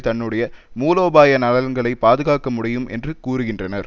தன்னுடைய மூலோபாய நலன்களை பாதுகாக்க முடியும் என்றும் கூறுகின்றனர்